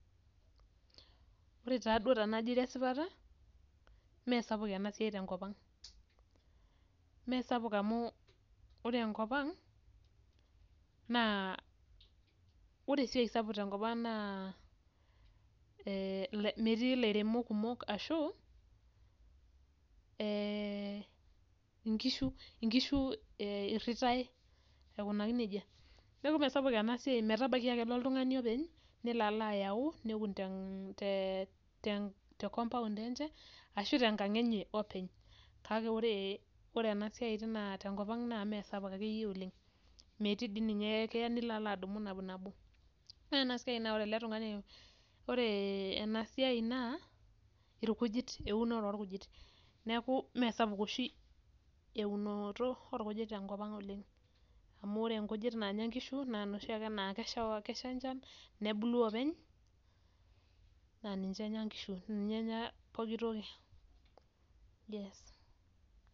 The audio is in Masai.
Ore taduo tenajo airo esipata, mesapuk enasiai tenkop ang. Mesapuk amu ore enkop ang, naa ore esiai sapuk tenkop ang naa, metii ilairemok kumok ashu, inkishu irritai aikunaki nejia. Neeku mesapuk enasiai, metabaiki akelo oltung'ani openy, nelo alo ayau, neun te compound enche, ashu tenkang enye openy. Kake ore, ore enasiai tenkop ang naa mesapuk akeyie oleng. Metii di ninye kee nilo alo adumu nabo. Ore enasiai naa ore ele tung'ani, ore enasiai naa, irkujit eunore orkujit. Neeku mesapuk oshi eunoto orkujit tenkop ang oleng. Amu ore inkujit nanya nkishu, naa noshi ake naa kesha enchan, nebulu openy, naa ninche enya nkishu. Ninye enya poki toki. Yes.